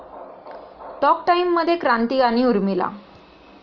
talk टाइममध्ये क्रांती आणि उर्मिला